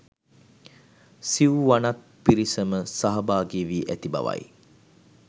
සිව්වනත් පිරිසම සහභාගි වී ඇති බව යි.